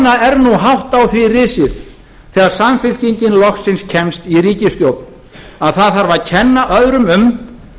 er nú hátt á því risið þegar samfylkingin loksins kemst í ríkisstjórn að það þarf að kenna öðrum um